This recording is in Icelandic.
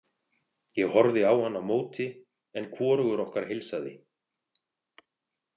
Ég horfði á hann á móti en hvorugur okkar heilsaði.